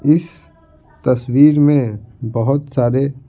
इस तस्वीर में बहुत सारे--